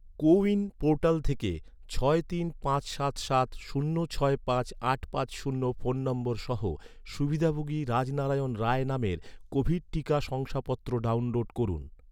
কো win portal থেকে ছয় তিন পাঁচ সাত সাত শূন্য ছয় পাঁচ আট পাঁচ শূন্য ফোন নম্বর সহ, সুবিধাভোগী রাজনারায়ণ রায় নামের কোভিড টিকা শংসাপত্র ডাউনলোড করুন